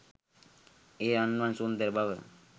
ඒ රන්වන් සුන්දර බව